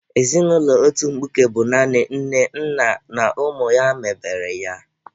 Ezinụlọ otu mkpuke bụ naanị nne, nna na ụmụ ha mebere ya.